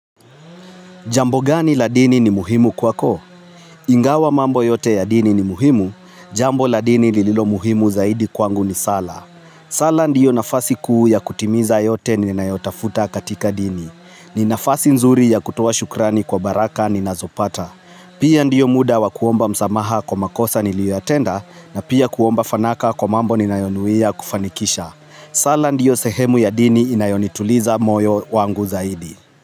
Jambo gani la dini ni muhimu kwako? Ingawa mambo yote ya dini ni muhimu, jambo la dini lililo muhimu zaidi kwangu ni sala. Sala ndiyo nafasi kuu ya kutimiza yote ninayotafuta katika dini. Ni nafasi nzuri ya kutoa shukrani kwa baraka ninazopata. Pia ndiyo muda wa kuomba msamaha kwa makosa niliyotenda na pia kuomba fanaka kwa mambo ninayonuia kufanikisha. Sala ndiyo sehemu ya dini inayonituliza moyo wangu zaidi.